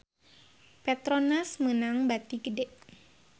Petronas meunang bati gede